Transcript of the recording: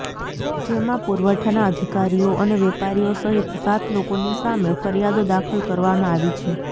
જેમાં પુરવઠાના અધિકારીઓ અને વેપારીઓ સહિત સાત લોકોની સામે ફરિયાદો દાખલ કરવામાં આવી છે